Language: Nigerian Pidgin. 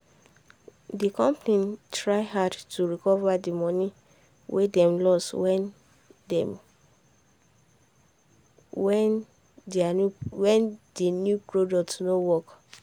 di company try hard to recover di money wey dem lose when dem when the new product no work.